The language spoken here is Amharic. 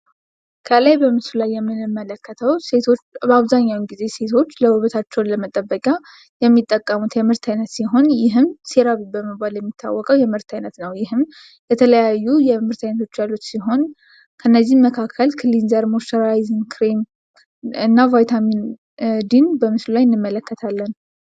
ከላይ በምስሉ ላይ የምንመለከተው በአብዛኛው ጊዜ ሴቶች ውበታቸውን ለመጠበቂያ የሚጠቀሙት የምርት አይነት ሲሆን ይህም ሲረብ በመባል የሚታወቀው የምምርት አይነት ነው። የተለያዩ የምርት አይነቶች ያሉት ሲሆን ከነዚህም መካከል ክሬቭ እና ቫይታሚን ድን በምስሉ ላይ እንመለከታለን።